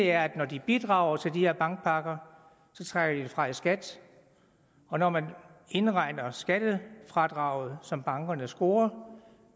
er at når de bidrager til de her bankpakker trækker de det fra i skat og når man indregner skattefradraget som bankerne scorer